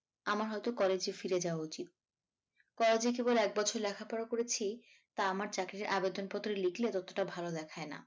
আমার হয়তো college এ ফিরে যাওয়া উচিত college এ কেবল এক বছর লেখাপড়া করেছি তা আমার চাকরির আবেদন পত্রে লিখলে ততটা ভাল দেখায় না